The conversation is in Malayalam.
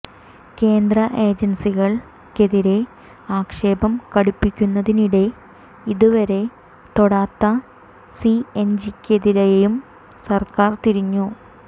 കേന്ദ്ര ഏജൻസികൾക്കെതിരെ ആക്ഷേപം കടുപ്പിക്കുന്നതിനിടെ ഇതുവരെ തൊടാത്ത സിഎജിക്കെതിരെയും സർക്കാർ തിരിഞ്ഞു